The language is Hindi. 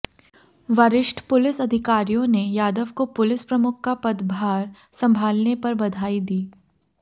वरिष्ठ पुलिस अधिकारियों ने यादव को पुलिस प्रमुख का पदभार संभालने पर बधाई दी